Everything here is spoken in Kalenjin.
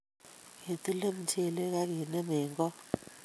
Ketile mchelek akenem eng koot